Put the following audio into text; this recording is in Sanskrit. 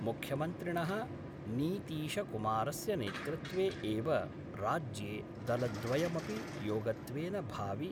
मुख्यमन्त्रिणः नीतीशकुमारस्य नेतृत्वे एव राज्ये दलद्वयमपि योगत्वेन भावि